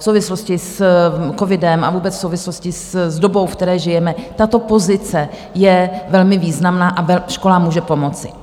V souvislosti s covidem a vůbec v souvislosti s dobou, ve které žijeme, tato pozice je velmi významná a školám může pomoci.